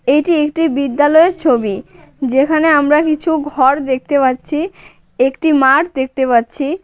এটি একটি বিদ্যালয়ের ছবি। যেখানে আমরা কিছু ঘর দেখতে পাচ্ছি। একটি মাঠ দেখতে পাচ্ছি।